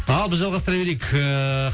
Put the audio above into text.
ал біз жалғастыра берейік ыыы